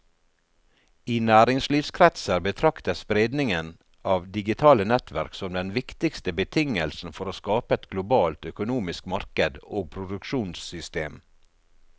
I næringslivskretser betraktes spredningen av digitale nettverk som den viktigste betingelsen for å skape et globalt økonomisk marked og produksjonssystem.